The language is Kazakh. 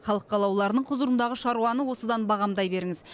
халық қалаулыларының құзырындағы шаруаны осыдан бағамдай беріңіз